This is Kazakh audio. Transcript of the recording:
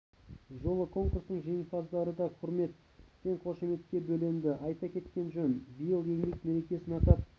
жолы конкурсының жеңімпаздары да құрмет пен қошеметке бөленді айта кеткен жөн биыл еңбек мерекесін атап